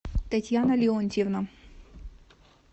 татьяна леонтьевна